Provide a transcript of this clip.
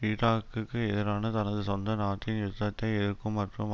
ஈராக்குக்கு எதிரான தனது சொந்த நாட்டின் யுத்தத்தை எதிர்க்கும் மற்றும்